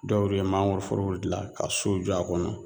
Dɔw de ye mangoroforow dila ka sow jɔ a kɔnɔ